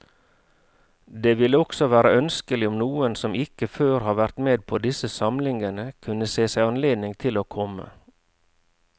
Det ville også være ønskelig om noen som ikke før har vært med på disse samlingene, kunne se seg anledning til å komme.